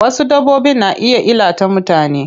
Wasu dabbbobin na iya illata mutane.